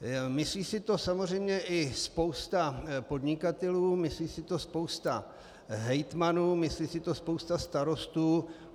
Myslí si to samozřejmě i spousta podnikatelů, myslí si to spousta hejtmanů, myslí si to spousta starostů.